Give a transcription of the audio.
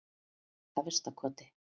Efstakoti